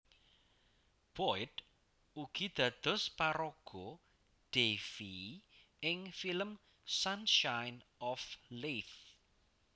Boyd ugi dados paraga Davie ing film Sunshine of Leith